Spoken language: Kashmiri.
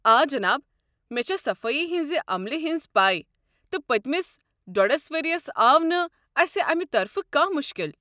آ جناب، مےٚ چھےٚ صفٲیی ہٕنٛزِ عملہِ ہنز پیہ تہٕ پٔتِمِس ڈۄڈس ؤرِیس آو نہٕ اسہِ امہِ طرفہٕ کانٛہہ مُشکل ۔